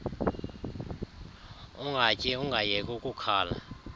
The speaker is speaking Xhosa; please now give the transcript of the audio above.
ungatyi ungayeki ukukhala